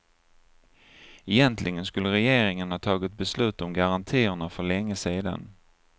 Egentligen skulle regeringen ha tagit beslut om garantierna för länge sedan.